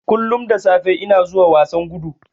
Kullun da safe ina zuwa wasan gudu.